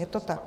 Je to tak.